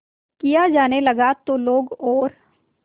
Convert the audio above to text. किया जाने लगा तो लोग और